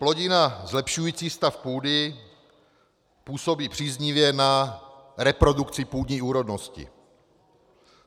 Plodina zlepšující stav půdy působí příznivě na reprodukci půdní úrodnosti.